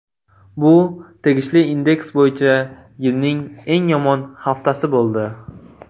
Bu tegishli indeks bo‘yicha yilning eng yomon haftasi bo‘ldi.